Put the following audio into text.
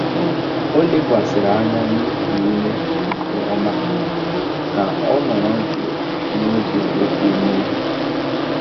Ó lékwàsị̀rị́ ányá nà íkú úmé nkè ọ́má kà ọ́ nọ̀rọ̀ jụ́ụ́ n'ógé ókwú mmèghe.